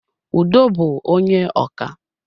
Udo bú onye ọkà